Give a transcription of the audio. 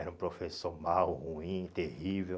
Era um professor mau, ruim, terrível.